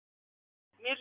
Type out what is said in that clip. mér